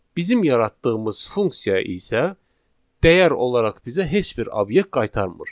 Bizim yaratdığımız funksiya isə dəyər olaraq bizə heç bir obyekt qaytarmır.